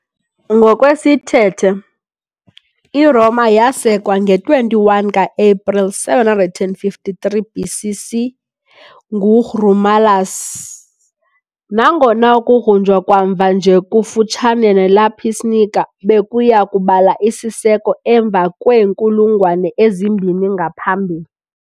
Ngokwesithethe, iRoma yasekwa nge-21 ka-Epreli 753 BC.C. nguRomulus, nangona ukugrunjwa kwamva nje kufutshane neLapis niger bekuya kubala isiseko emva kweenkulungwane ezimbini ngaphambili.